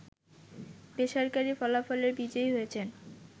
বেসরকারি ফলাফলে বিজয়ী হয়েছেন